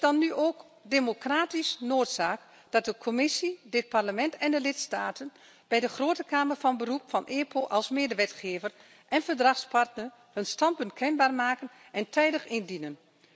Het is nu dan ook democratische noodzaak dat de Commissie, dit Parlement en de lidstaten bij de Grote Kamer van Beroep van EPO als medewetgever en verdragspartner hun standpunt kenbaar maken en tijdig indienen.